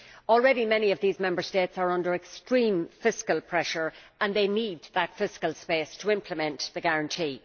Already many of these Member States are under extreme fiscal pressure and they need that fiscal space to implement the guarantee.